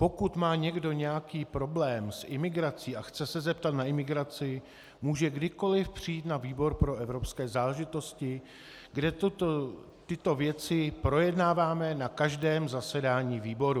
Pokud má někdo nějaký problém s imigrací a chce se zeptat na imigraci, může kdykoliv přijít na výbor pro evropské záležitosti, kde tyto věci projednáváme na každém zasedání výboru.